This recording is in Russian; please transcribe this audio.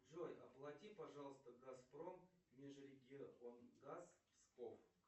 джой оплати пожалуйста газпром межрегионгаз псков